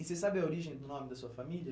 E você sabe a origem do nome da sua família?